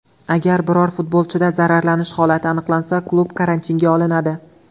Agar biror futbolchida zararlanish holati aniqlansa, klub karantinga olinadi .